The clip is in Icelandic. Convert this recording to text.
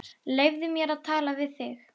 Leyfðu mér að tala við þig!